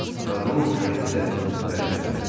Qadının kareti də hərəkətə gəldi.